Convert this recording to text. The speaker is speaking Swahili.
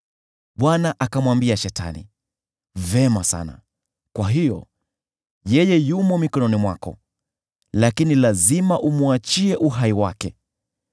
Bwana akamwambia Shetani, “Vema sana, kwa hiyo, yeye yumo mikononi mwako, lakini lazima umwachie uhai wake.”